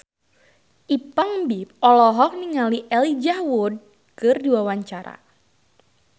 Ipank BIP olohok ningali Elijah Wood keur diwawancara